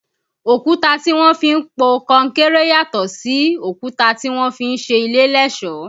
Òkúta tí wọ́n fi ń po kọnkéré yàtò sí òkúta tí wọ́n fi ń ṣe ilé lẹ́sọ̀ọ́